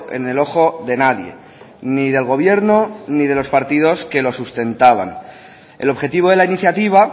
en el ojo de nadie ni del gobierno ni de los partidos que lo sustentaban el objetivo de la iniciativa